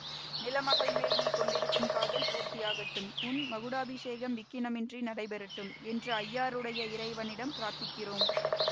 நிலமகள் மேல் நீ கொண்டிருக்கும் காதல் பூர்த்தி ஆகட்டும் உன் மகுடாபிஷேகம் விக்கினமின்றி நடைபெறட்டும் என்று ஐயாறுடைய இறைவரிடம் பிரார்த்திக்கிறோம்